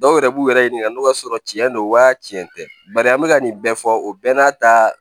Dɔw yɛrɛ b'u yɛrɛ ɲininka n'o y'a sɔrɔ cɛn do wa cɛn tɛ bari an bɛ ka nin bɛɛ fɔ o bɛɛ n'a ta